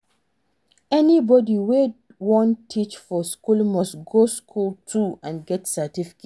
Anybody wey won teach for school must go school too and get certificate